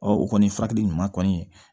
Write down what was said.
Ɔ o kɔni furakɛli ɲuman kɔni